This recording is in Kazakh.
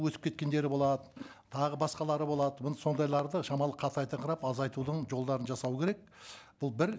өтіп кеткендері болады тағы басқалары болады оны сондайларды шамалы қатайтынқырап азайтудың жолдарын жасау керек бұл бір